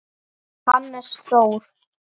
Hannes Þór.